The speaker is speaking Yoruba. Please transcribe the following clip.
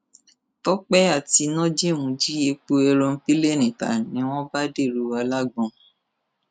tọpẹ àti nojeem jí epo èròǹpilẹẹni ta ni wọn bá dèrò alágbọn